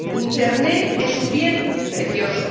Internet es un bien precioso.